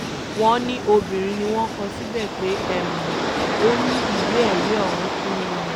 wọ́n ní obìnrin ni wọ́n kọ síbẹ̀ pé um ó ní ìwé-ẹ̀rí ọ̀hún um